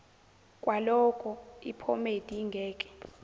kwaloko iphomedi ingeke